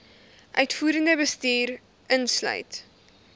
uitvoerende bestuur insluit